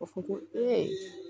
Ka fɔ ko